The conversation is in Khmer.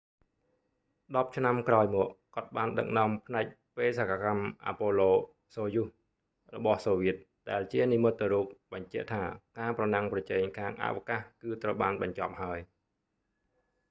ដប់ឆ្នាំក្រោយមក គាត់បានដឹកនាំផ្នែកបេសកកម្មអាប៉ូឡូ សូយូស apollo-soyuz របស់សូវៀតដែលជានិមិត្តរូបបញ្ជាក់ថាការប្រណាំងប្រជែងខាងអវកាសគឺត្រូវបានបញ្ចប់ហើយ